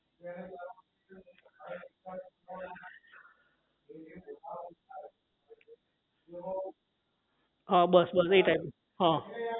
હા બસ બસ એ type નું હા